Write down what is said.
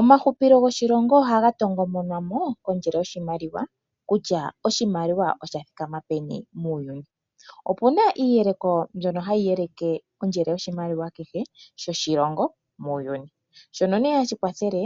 Omahupilo goshilongo ohaga tongo monwamo kondjele yoshimaliwa kutya oshimaliwa osha thikama peni muuyuni. Opuna iiyeleko ndjono hayi yeleke ondjele yoshimaliwa kehe sho shilongo muuyuni, shono ne hashi kwathele